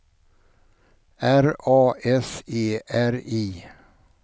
R A S E R I